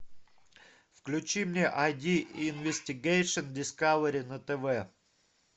включи мне айди инвестигейшн дискавери на тв